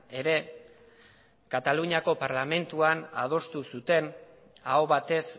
ere kataluniako parlamentuan adostu zuten aho batez